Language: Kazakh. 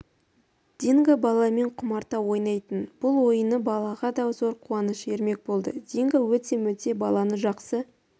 динго баламен құмарта ойнайтын бұл ойын балаға да зор қуаныш ермек болды динго өте-мөте баланы жақсы